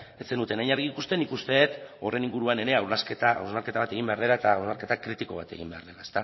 ez zenuten hain argi ikusten nik uste dut horren inguruan ere hausnarketa bat egin behar dela eta hausnarketa kritiko bat egin behar dela